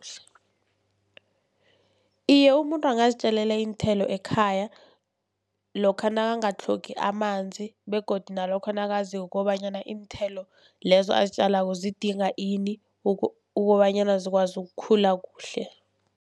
Iye, umuntu angazitjalela iinthelo ekhaya lokha nakangatlhogi amanzi, begodu nalokha nakaziko kobanyana iinthelo lezo azitjalako zidinga ini kobanyana zikwazi ukukhula kuhle.